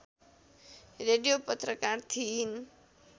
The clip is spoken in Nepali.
रेडियो पत्रकार थिइन्